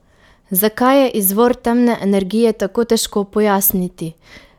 Zakaj je izvor temne energije tako težko pojasniti?